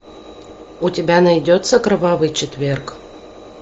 у тебя найдется кровавый четверг